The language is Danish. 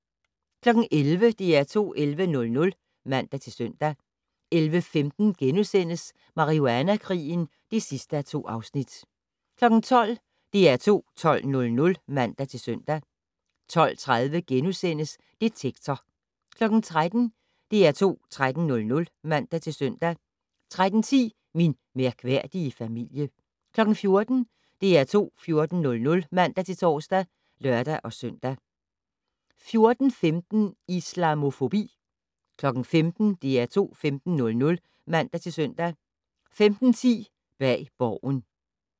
11:00: DR2 11:00 (man-søn) 11:15: Marihuana-krigen (2:2)* 12:00: DR2 12:00 (man-søn) 12:30: Detektor * 13:00: DR2 13:00 (man-søn) 13:10: Min mærkværdige familie 14:00: DR2 14:00 (man-tor og lør-søn) 14:15: Islamofobi 15:00: DR2 15:00 (man-søn) 15:10: Bag Borgen